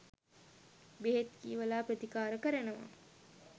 බෙහෙත් කියවල ප්‍රතිකාර කරනවා